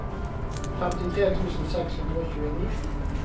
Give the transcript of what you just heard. femtifire tusen seks hundre og tjueni